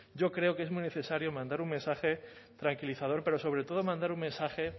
yo creo que es muy necesario mandar un mensaje tranquilizador pero sobre todo mandar un mensaje